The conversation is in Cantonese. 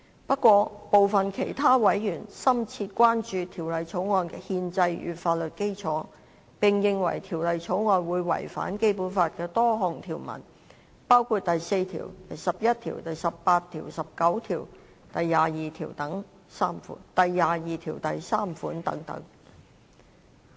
不過，部分其他委員深切關注《條例草案》的憲制與法律基礎，並認為《條例草案》會違反《基本法》的多項條文，包括第四條、第十一條、第十八條、第十九條、第二十二條第三款等。